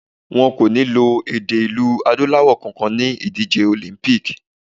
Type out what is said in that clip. Wọn kò ní lo èdè ilẹ̀ Adúláwọ̀ kankan ni ìdíje Olympic.